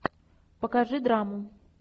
покажи драму